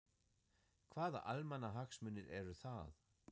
Hvaða almannahagsmunir eru það?